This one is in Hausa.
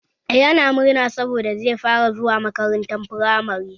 Yana murna saboda zai fara zuwa makaranta firamare